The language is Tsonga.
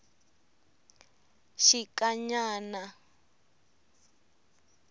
xikanyana